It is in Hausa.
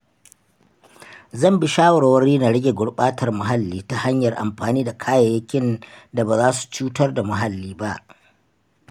Zan bi shawarwari na rage gurɓatar muhalli ta hanyar amfani da kayayyakin da baza su cutar da muhalli ba.